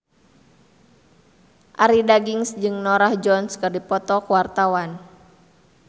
Arie Daginks jeung Norah Jones keur dipoto ku wartawan